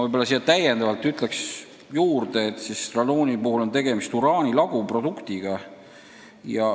Ütlen selgituseks, et radooni puhul on tegemist uraani laguproduktiga.